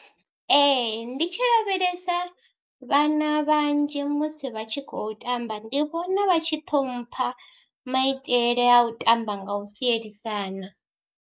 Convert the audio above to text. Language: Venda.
Ee ndi tshi lavhelesa vhana vhanzhi musi vha tshi khou tamba, ndi vhona vha tshi ṱhompha maitele a u tamba nga u sielisana.